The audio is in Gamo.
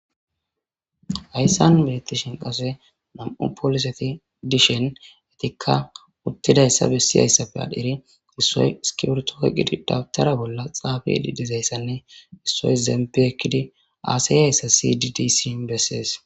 Hayssan beettishin qase mam7u pooliseti dishen etikka uttidayssa bessiyayssapfe adheri issoy skibertoke qidi dawtara bolla xaafe edi dizayssanne issoy zempi ekkidi aaseyayssa sidi d siyn bessees